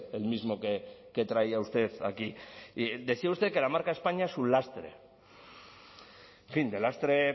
el mismo que traía usted aquí decía usted que la marca españa es un lastre en fin de lastre